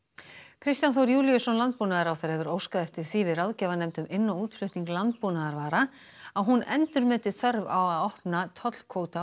Kristján Þór Júlíusson landbúnaðarráðherra hefur óskað eftir því við ráðgjafarnefnd um inn og útflutning landbúnaðarvara að hún endurmeti þörf á að opna tollkvóta á